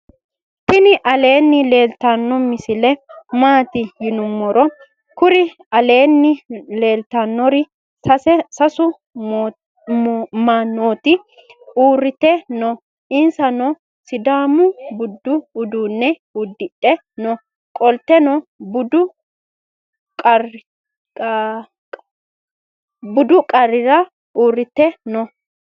tiini aleni leltano misile matti yinimoro. kuri aleni leltanori sasu manoti uurite noo isnsano sidaamu buudu uduune uudidhe noo. qolteno dubu qacera uriite noo.